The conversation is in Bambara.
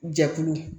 Jɛkulu